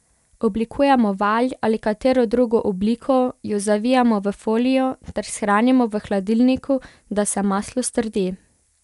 Oblikujemo valj ali katero drugo obliko, jo zavijemo v folijo ter shranimo v hladilniku, da se maslo strdi.